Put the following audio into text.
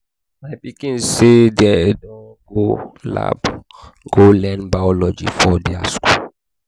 my pikin sey dem dey go lab go learn biology for their skool.